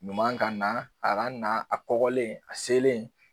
Ɲuman ka na a ka na a kɔgɔlen a selen.